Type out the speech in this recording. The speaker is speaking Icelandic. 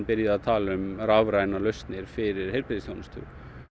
að tala um rafrænar lausnir fyrir heilbrigðisþjónustuna